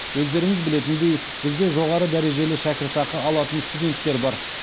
өздеріңіз білетіндей бізде жоғары дәрежелі шәкіртақы алатын студенттер бар